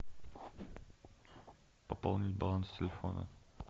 пополнить баланс телефона